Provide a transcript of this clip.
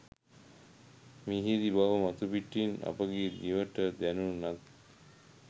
මිහිරි බව මතුපිටින් අපගේ දිවට දැණුනත්